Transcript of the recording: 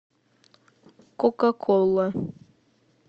кока кола